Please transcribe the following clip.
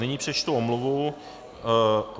Nyní přečtu omluvu.